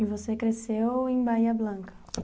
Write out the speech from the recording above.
E você cresceu em Bahia Blanca?